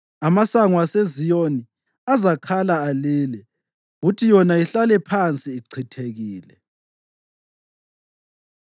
Amasango aseZiyoni azakhala alile, kuthi yona ihlale phansi ichithekile.